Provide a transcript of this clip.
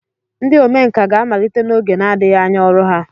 Ndị omenkà ga-amalite n'oge na-adịghị anya ọrụ ha.